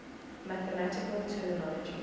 mathematical terminology